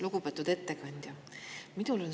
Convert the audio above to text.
Lugupeetud ettekandja!